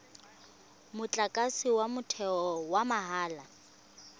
motlakase wa motheo wa mahala